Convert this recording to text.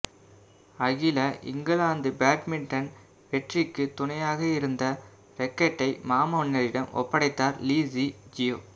அகில England badminton வெற்றிக்கு துணையாக இருந்த ரேக்கேட்டை மாமன்னரிடம் ஒப்படைத்தார் லீ ஸி ஜியா